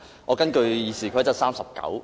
我根據《議事規則》第39條......